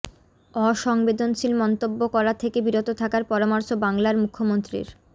অসংবেদনশীল মন্তব্য করা থেকে বিরত থাকার পরামর্শ বাংলার মুখ্যমন্ত্রীর